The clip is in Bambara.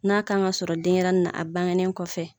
N'a k'an ka sɔrɔ denyɛrɛni na a bangenen kɔfɛ